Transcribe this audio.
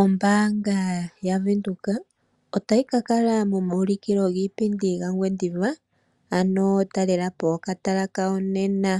Ombaanga yaVenduka otayi ka kala momaulikilo giipindi gaNgwediva, ano talelapo okatala kawo nena